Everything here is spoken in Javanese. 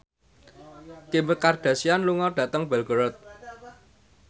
Kim Kardashian lunga dhateng Belgorod